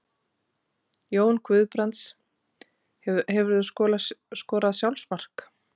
Jón Guðbrands Hefurðu skorað sjálfsmark?